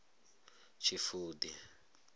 tshifudi